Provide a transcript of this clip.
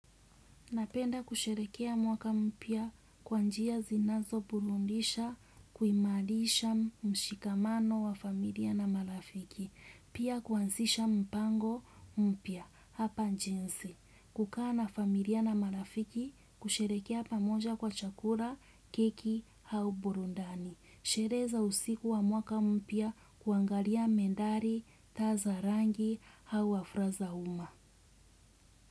Napenda kusherehekea mwaka mpya kwa njia zinazo burudisha kuimarisha mshikamano wa familia na marafiki. Pia ku anzisha mpango mpya hapa jinsi. Kukaa na familia na marafiki kusherehekea pamoja kwa chakula, keki au burudani. Sherehe za usiku wa mwaka mpya kuangalia mandhari, taa za rangi au hafla za uma.